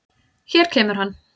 Hér kemur hann.